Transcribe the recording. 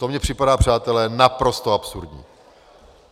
To mně připadá, přátelé, naprosto absurdní.